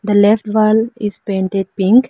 the left wall is painted pink.